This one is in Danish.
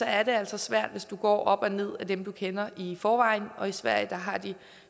er det altså svært hvis du går op og ned af dem du kender i forvejen og i sverige har de